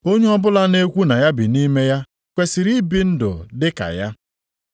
Onye ọbụla na-ekwu na ya bi nʼime ya kwesiri ibi ndụ dịka ya.